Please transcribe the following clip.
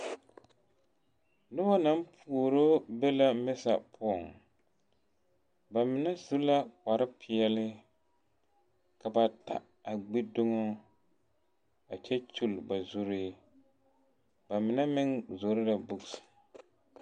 Noba naŋ puoro be la Mesa poɔ, ba mine su la kpare pɛɛle, ka bata a gbi dumo a kyɛ kyol ba zuree, ba mine meŋ pɛgele la gama.